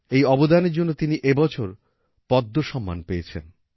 এই অবদানের জন্য তিনি এইবছর পদ্ম সম্মানও পেয়েছেন